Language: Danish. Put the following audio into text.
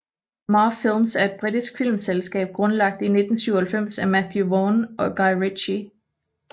Marv Films er et britisk filmselskab grundlagt i 1997 af Matthew Vaughn og Guy Ritchie